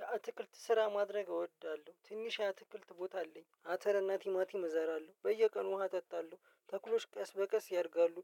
የአትክልት ስራ ማድረግ እወዳለሁ ትንሽ የአትክልት ቦታ አለኝ አተር እና ቲማቲም እዘራለሁ በየቀኑ ውሃ አጠጣለሁ። ተክሎች ቀስ በቀስ ያድጋሉ